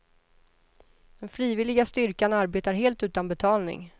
Den frivilliga styrkan arbetar helt utan betalning.